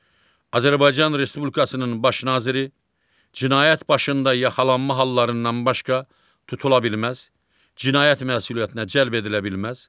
Azərbaycan Respublikasının Baş Naziri cinayət başında yaxalanma hallarından başqa tutula bilməz, cinayət məsuliyyətinə cəlb edilə bilməz.